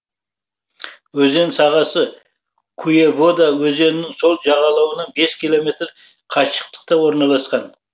өзен сағасы куевода өзенінің сол жағалауынан бес километр қашықтықта орналасқан